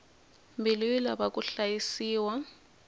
mbilu yi lava ku hlayisiwa